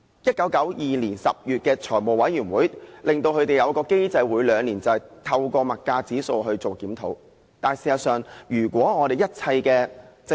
1992年10月，財務委員會決定了他們每兩年可按消費物價指數檢討收費的機制。